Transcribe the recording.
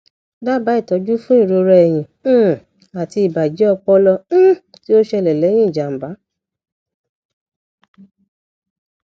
dábàá ìtọjú fún ìrora ẹyìn um àti ìbàjẹ ọpọlọ um tí ó ṣẹlẹ lẹyìn ìjàmbá